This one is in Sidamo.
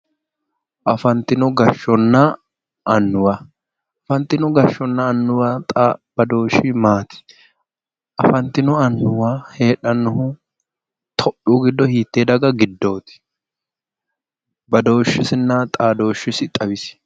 Afantino gashshonna annuwa afantino gashshonna annuwa badooshshi maati? afantino gashshonna annuwa heedhanohu itiyopiyu giddo hiittenne daga giddooti badooshesinna xaadooshshesi xawisi.